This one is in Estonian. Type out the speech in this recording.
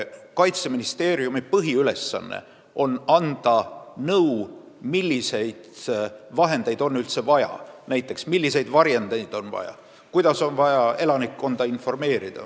Kaitseministeeriumi põhiülesanne on anda nõu, milliseid vahendeid on üldse vaja: näiteks milliseid varjendeid on vaja ja kuidas tuleks elanikkonda informeerida.